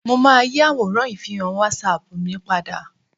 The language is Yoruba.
Mo máa yí àwòrán ìfihàn wásapù mi padà